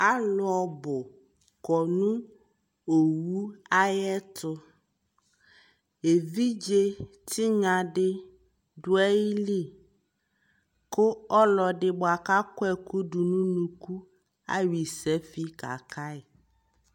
alʋ ɔbʋ kɔnʋ ɔwʋ ayɛtʋ ɛvidzɛ tinya di dʋali kʋ ɔlɔdi bʋakʋ akɔ ɛkʋ dʋnʋ ʋnʋkʋ ayɔ isafi kakai